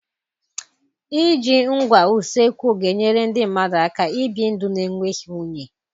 Iji ngwa usekwu ga-enyere ndị mmadụ aka ibi ndụ na-enweghị unyi.